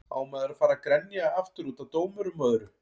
Á maður að fara að grenja aftur útaf dómurum og öðru?